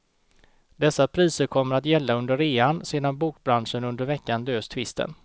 Dessa priser kommer att gälla under rean, sedan bokbranschen under veckan löst tvisten.